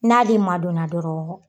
N'ale madonna dɔrɔn